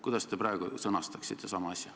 Kuidas te praegu sama asja sõnastaksite?